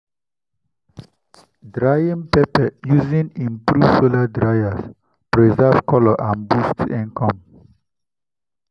drying pepper using improved solar dryers preserves colour and boosts income.